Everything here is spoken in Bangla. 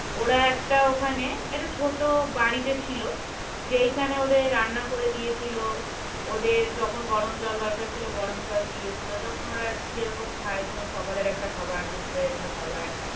ওরা একটা ওখানে একটা ছোট বাড়িতে ছিল যেখানে ওদের রান্না করে দিয়েছিল ওদের যখন গরম জল দরকার ছিল গরম জল দিয়েছিল যখন ওরা যেরকম খায় যেমন সকালে একটা খাবার দুপুরের একটা খাবার